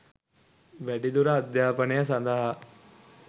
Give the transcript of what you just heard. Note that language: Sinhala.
වැඩිදුර අධ්‍යාපනය සඳහා